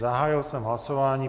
Zahájil jsem hlasování.